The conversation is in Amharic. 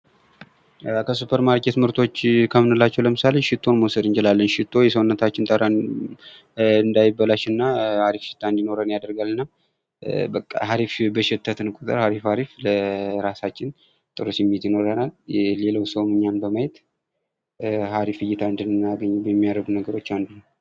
ከሱፐር ማርኬት ምርቶች ከምንላቸዉ ለምሳሌ ሽቶን መዉሰድ እንችላለን። ሽቶ የሰዉነታችንን ጠረን እንዳይበላሽ እና አሪፍ ሽታ እንዲኖረን ያደርጋል። እና አሪፍ በሸተትን ቁጥር አሪፍ አሪፍ ጥሩ እይታ ይኖረናል።